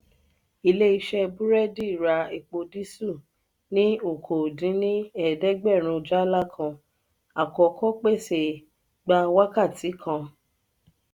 ilé iṣé burẹdi ra èpo diesel ni okoo-din-ni-eedegberun jala kan; àkókò pèsè gba wákàtí kan.